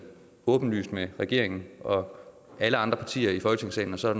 åbenlyst med regeringen og alle andre partier i folketingssalen og så er